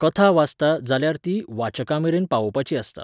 कथा वाचता, जाल्यार ती वाचकांमेरेन पावोवपाची आसता.